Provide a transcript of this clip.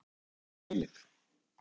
Mál og menning.